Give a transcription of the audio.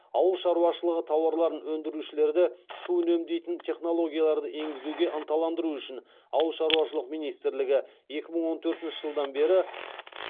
ауыл шаруашылығы тауарларын өндірушілерді су үнемдейтін технологияларды енгізуге ынталандыру үшін ауыл шаруашылық министрлігі екі мың он төртінші жылдан бері